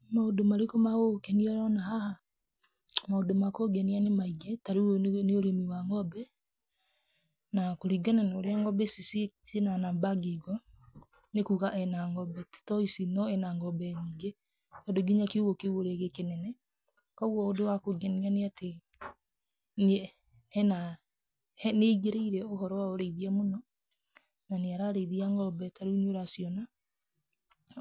Nĩ maũndũ marĩkũ magũgũkenia ũroona haha? Maũndũ ma kũngenia nĩ maingĩ, ta rĩu ũyũ nĩ ũrĩmi wa ng'ombe na kũringana na ũrĩa ng'ombe ici ciĩ na namba ngingo, nĩ kuga ena ng'ombe tũtoĩ ici no ena ng'ombe nyingĩ tondũ nginya ũrĩa kiũgũ kĩu gĩ kĩnene. Koguo ũndũ wa kũngenia nĩ atĩ nĩ aingĩríĩre ũhoro wa ũrĩithia mũno na nĩ ararĩithia ng'ombe ta rĩu nĩ ũraciona.